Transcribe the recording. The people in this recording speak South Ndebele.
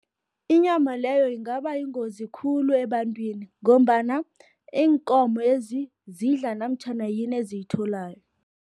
Inyama leyo ingaba yingozi khulu ebantwini, ngombana iinkomezi, zidla namtjhana yini eziyitholako.